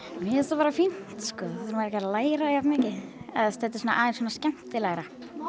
mér finnst það bara fínt sko þá þarf maður ekki alveg að læra jafn mikið eða þetta er svona aðeins skemmtilegra